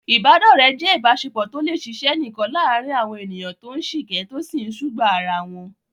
Ìbádọ́rẹ̀ẹ́ jẹ́ ìbáṣepọ̀ tó lè ṣiṣẹ́ nìkan láàárín àwọn ènìyàn tó ń sìkẹ́, tó sì ń sùgbàá ara wọn.